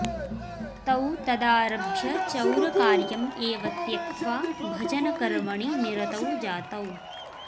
तौ तदारभ्य चौरकार्यम् एव त्यक्त्वा भजनकर्मणि निरतौ जातौ